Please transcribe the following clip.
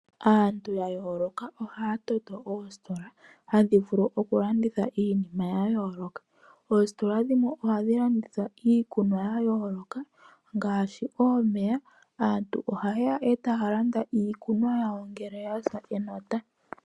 Aantu ya yooloka ohaya toto oositola hadhi vulu okulanditha iinima ya yooloka. Oositola dhimwe ohadhi landitha iikunwa ya yooloka ngaashi omeya. Aantu ohaye ya e taya landa iikunwa yawo ngele ya sa enota.